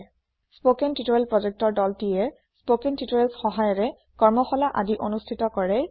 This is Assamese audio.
স্পোকেন টিউটৰিয়েল প্ৰজেক্ট ৰ দলটিয়ে স্পোকেন tutorialsৰ সহায়েৰে কৰ্মশালা আদি অনুষ্ঠিত কৰে